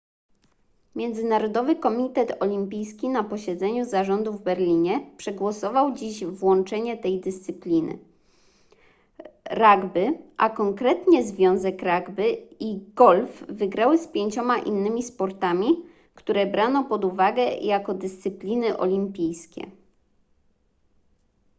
międzynarodowy komitet olimpijski na posiedzeniu zarządu w berlinie przegłosował dziś włączenie tej dyscypliny rugby a konkretnie związek rugby i golf wygrały z pięcioma innymi sportami które brano pod uwagę jako dyscypliny olimpijskie